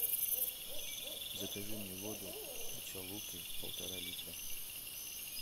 закажи мне воду ачалуки полтора литра